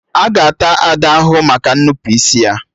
Aga ata Ada ahụhụ maka nnupụisi ya?